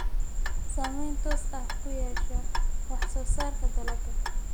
Saamayn toos ah ku yeesha wax soo saarka dalagga.